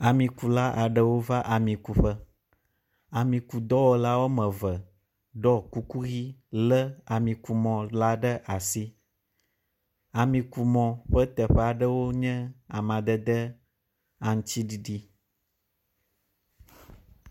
Amikula aɖewo va ami ku ƒe. Amikudɔwɔla woameve ɖɔ kuku ʋi lé amikumɔ la ɖe asi. Amikumɔ ƒe teƒe aɖewo nye amadede aŋtsiɖiɖi.